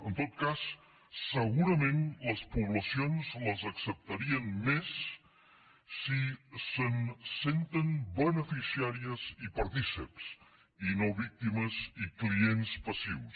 en tot cas segurament les poblacions les acceptarien més si se’n senten beneficiàries i partícips i no víctimes i clients passius